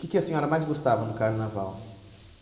que que a senhora mais gostava no Carnaval?